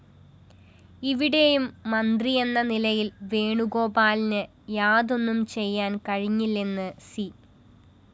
ഇവിടെയും മന്ത്രിയെന്ന നിലയില്‍ വേണുഗോപാലിന്‌ യാതൊന്നും ചെയ്യാന്‍ കഴിഞ്ഞില്ലെന്ന്‌ സി